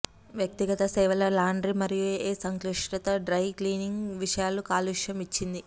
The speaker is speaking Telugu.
వ్యక్తిగత సేవల లాండ్రీ మరియు ఏ సంక్లిష్టత డ్రై క్లీనింగ్ విషయాలు కాలుష్యం ఇచ్చింది